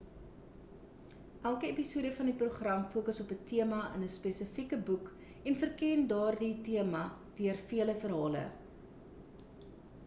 elke episode van die program fokus op 'n tema in 'n spesifieke boek en verken daardie tema deur vele verhale